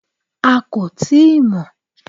A kò tíì mọ̀